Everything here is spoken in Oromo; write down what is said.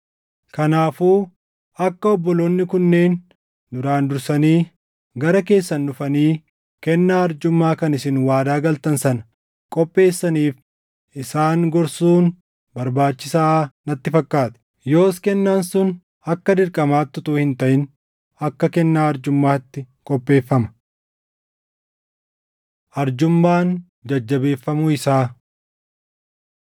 Kanaafuu akka obboloonni kunneen duraan dursanii gara keessan dhufanii kennaa arjummaa kan isin waadaa galtan sana qopheessaniif isaan gorsuun barbaachisaa natti fakkaate. Yoos kennaan sun akka dirqamaatti utuu hin taʼin akka kennaa arjummaatti qopheeffama. Arjummaan Jajjabeeffamuu Isaa